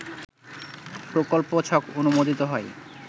প্রকল্প ছক অনুমোদিত হয়